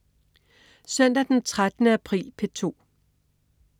Søndag den 13. april - P2: